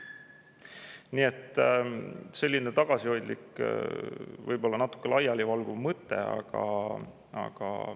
Nii et selline tagasihoidlik, võib-olla natuke laialivalguv mõte.